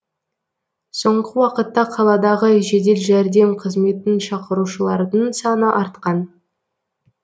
соңғы уақытта қаладағы жедел жәрдем қызметін шақырушылардың саны артқан